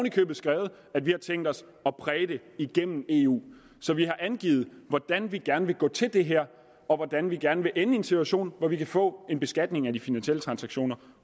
i købet skrevet at vi har tænkt os at præge det igennem eu så vi har angivet hvordan vi gerne vil gå til det her og hvordan vi gerne vil ende i en situation hvor vi kan få en beskatning af de finansielle transaktioner